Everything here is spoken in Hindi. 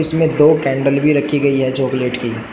इसमें दो कैंडल भी रखी गई है चॉकलेट की।